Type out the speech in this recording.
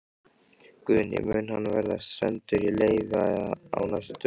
Guðný: Mun hann verða sendur í leyfi á næstu dögum?